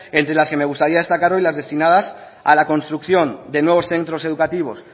entre las que me gustaría destacar hoy las destinadas a la construcción de nuevos centros educativos